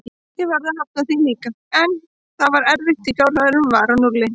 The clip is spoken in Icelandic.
Ég varð að hafna því líka, en þetta var erfitt því fjárhagurinn var á núlli.